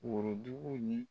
Worodugu ye